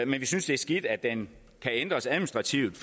men vi synes det er skidt at den kan ændres administrativt